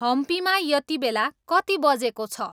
हम्पीमा यतिबेला कति बजेको छ